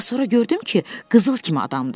Amma sonra gördüm ki, qızıl kimi adamdır.